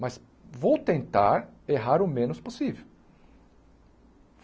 Mas vou tentar errar o menos possível.